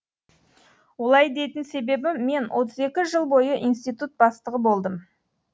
олай дейтін себебім мен отыз екі жыл бойы институт бастығы болдым